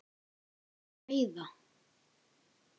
Eruð þið að veiða?